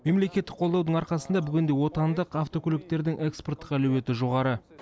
мемлекеттік қолдаудың арқасында бүгінде отандық автокөліктердің экспорттық әлеуеті жоғары